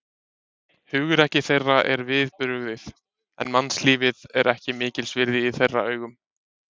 Hugrekki þeirra er við brugðið, en mannslífið er ekki mikils virði í þeirra augum.